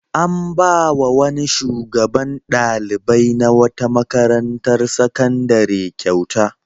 An ba wa wani shugaban ɗalibai na wata makarantar sakandare kyauta.